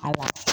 Awɔ